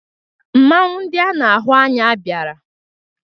Mmanwụ ndị a na-ahụ anya bịara.